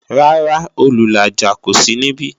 Rárá, Olùlàjà kó sí níbí